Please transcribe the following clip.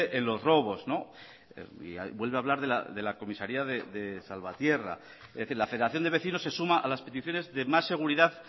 en los robos vuelve a hablar de la comisaría de salvatierra es decir la federación de vecinos se suma a las peticiones de más seguridad